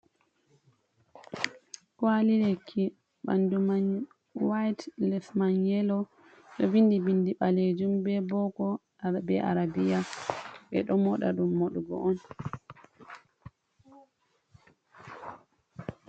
Kwalilekki bandu man white lesman yelo do vindi bindi balejum be boko be arabiya, be do moda dum modugo on.